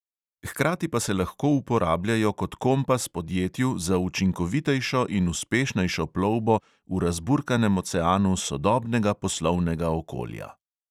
Hkrati pa se lahko uporabljajo kot kompas podjetju za učinkovitejšo in uspešnejšo plovbo v razburkanem oceanu sodobnega poslovnega okolja.